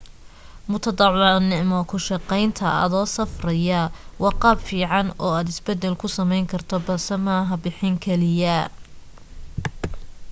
mutadwacnimo ku shaqaynta adoo safraya waa qaab fiican oo aad isbeddel ku samayn karto balse maaha bixin kaliya